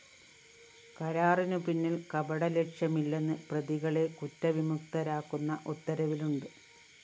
കരാറിനു പിന്നില്‍ കപടലക്ഷ്യമില്ലെന്ന് പ്രതികളെ കുറ്റവിമുക്തരാക്കുന്ന ഉത്തരവിലുണ്ട്